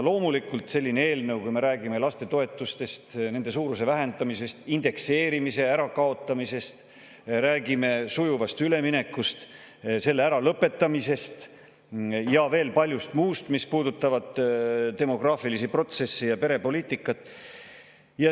Loomulikult, me räägime lastetoetustest, nende suuruse vähendamisest, indekseerimise ärakaotamisest, räägime sujuvast üleminekust, selle äralõpetamisest ja veel paljust muust, mis puudutab demograafilisi protsesse ja perepoliitikat.